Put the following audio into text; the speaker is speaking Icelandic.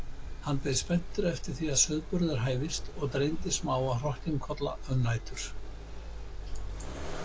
Hann beið spenntur eftir að sauðburður hæfist og dreymdi smáa hrokkinkolla um nætur.